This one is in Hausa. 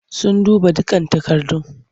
Sun duba dukkan takardun.